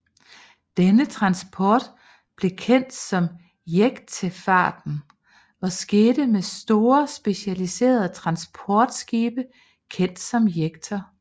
Denne transport blev kendt som jektefarten og skete med store specialiserede transportskibe kendt som jekter